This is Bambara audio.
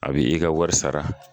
A bi bɛ i ka wari sara